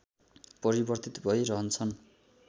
परिवर्तित भइ रहछन